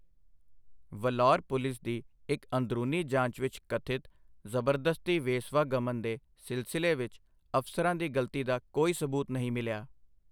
ਵਲੋਰ police ਦੀ ਇੱਕ ਅੰਦਰੂਨੀ ਜਾਂਚ ਵਿੱਚ ਕਥਿਤ ਜ਼ਬਰਦਸਤੀ ਵੇਸਵਾ ਗਮਨ ਦੇ ਸਿਲਸਿਲੇ ਵਿੱਚ ਅਫਸਰਾਂ ਦੀ ਗਲਤੀ ਦਾ ਕੋਈ ਸਬੂਤ ਨਹੀਂ ਮਿਲਿਆ।